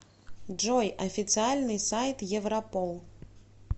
джой официальный сайт европол